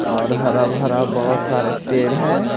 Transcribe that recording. और हरा भरा बहुत सारे पेड़ हैं।